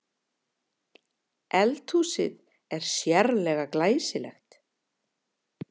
Eldhúsið er sérlega glæsilegt